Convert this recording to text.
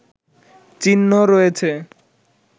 চিহ্ন রয়েছে